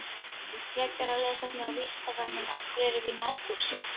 Frekara lesefni á Vísindavefnum: Af hverju erum við í nærbuxum?